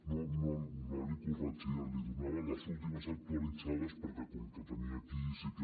no el corregia li donava les últimes actualitzades perquè com que ho tenia aquí sí que